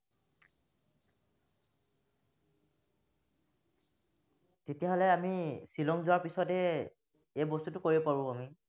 তেতিয়া হলে আমি শ্বিলং যোৱাৰ পিছতহে এই বস্তুটো কৰিব পাৰো আমি।